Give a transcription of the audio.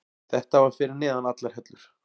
Þetta var fyrir neðan allar hellur.